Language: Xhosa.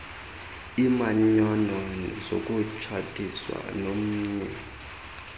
iimanyano zokutshatiswa nomnye